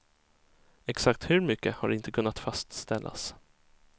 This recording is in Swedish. Exakt hur mycket har inte kunnat fastställas.